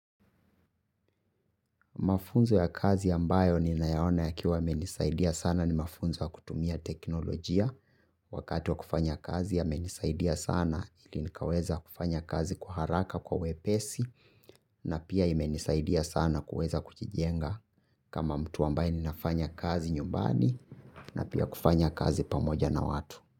Mafunzo ya kazi ya mbayo ni naya ona yakiwa yamenisaidia sana ni mafunzo ya kutumia teknolojia. Wakati wa kufanya kazi yamenisaidia sana ili nikaweza kufanya kazi kwa haraka kwa wepesi na pia imenisaidia sana kuweza kujijenga kama mtu ambaye ninafanya kazi nyumbani na pia kufanya kazi pamoja na watu.